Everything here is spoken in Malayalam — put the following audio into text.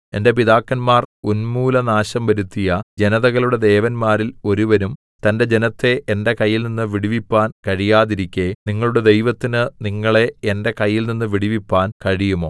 എന്റെ പിതാക്കന്മാർ ഉന്മൂലനാശം വരുത്തിയ ജനതകളുടെ ദേവന്മാരിൽ ഒരുവനും തന്റെ ജനത്തെ എന്റെ കയ്യിൽനിന്ന് വിടുവിപ്പാൻ കഴിയാതിരിക്കെ നിങ്ങളുടെ ദൈവത്തിന് നിങ്ങളെ എന്റെ കയ്യിൽനിന്ന് വിടുവിപ്പാൻ കഴിയുമോ